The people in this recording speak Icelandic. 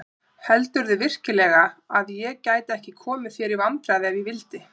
Heldurðu virkilega að ég gæti ekki komið þér í vandræði ef ég vildi?